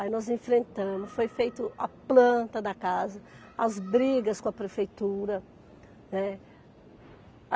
Aí nós enfrentamos, foi feito a planta da casa, as brigas com a prefeitura, né?